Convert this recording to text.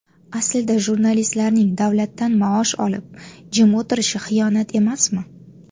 Aslida jurnalistlarning davlatdan maosh olib, jim o‘tirishi xiyonat emasmi?